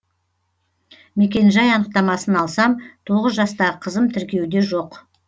мекенжай анықтамасын алсам тоғыз жастағы қызым тіркеуде жоқ